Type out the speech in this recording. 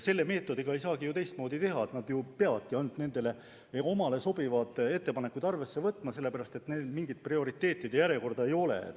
Sellise meetodi puhul ei saagi teistmoodi teha, nad peavadki ainult endale sobivaid ettepanekuid arvesse võtma, sest mingit prioriteetide järjekorda ei ole.